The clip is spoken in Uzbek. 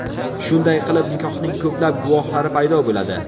Shunday qilib nikohning ko‘plab guvohlari paydo bo‘ladi.